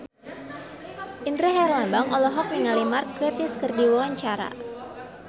Indra Herlambang olohok ningali Mark Gatiss keur diwawancara